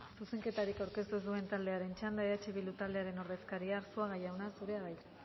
zuzenketarik aurkeztu ez duen taldearen txanda eh bildu taldearen ordezkaria arzuaga jauna zurea da hitza